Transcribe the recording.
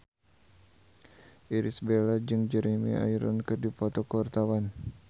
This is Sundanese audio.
Irish Bella jeung Jeremy Irons keur dipoto ku wartawan